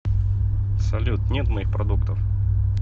салют нет моих продуктов